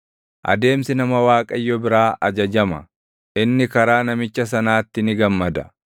Adeemsi nama Waaqayyo biraa ajajama; inni karaa namicha sanaatti ni gammada.